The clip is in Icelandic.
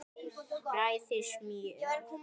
Bræðið smjör.